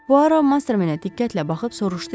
Puaro Masterminə diqqətlə baxıb soruşdu ki,